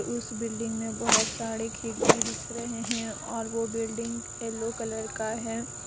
उस बिल्डिंग मे बहोत सारे खिड़की दिख रहे है और वो बिल्डिंग येलो कलर का है।